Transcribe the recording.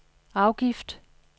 afgift